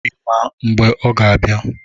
Ị ma mgbe ọ ga-abịa?